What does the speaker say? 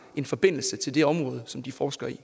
en forbindelse til det område som de forsker i